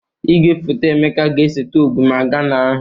Igwefoto Emeka ga-eseta ogwumagana ahụ